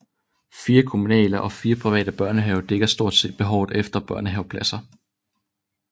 Fire kommunale og fire private børnehaver dækker stort set behovet efter børnehavepladser